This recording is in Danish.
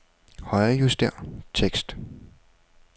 Højrejuster tekst.